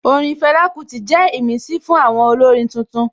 Orin Fela Kuti jẹ́ ìmísí fún àwọn olórin tuntun